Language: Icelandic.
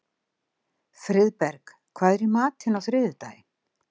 Friðberg, hvað er í matinn á þriðjudaginn?